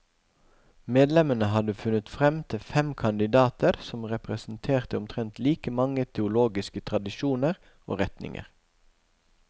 Medlemmene hadde funnet frem til fem kandidater som representerte omtrent like mange teologiske tradisjoner og retninger.